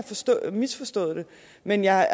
misforstået det men jeg